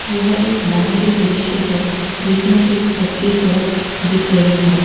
यह एक बाहरी दृश्य है जिसमें एक कच्ची सड़क दिख रही है।